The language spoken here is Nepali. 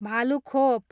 भालुखोप